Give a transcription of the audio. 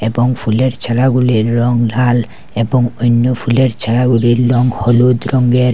এবং ফুলের ছড়াগুলির রং লাল এবং অইন্য ফুলের ছড়াগুলির রং হলুদ রংয়ের।